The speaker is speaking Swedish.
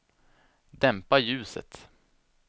dämpa ljuset